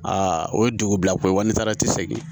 Aa o ye dugu bila ko ye walima tisegin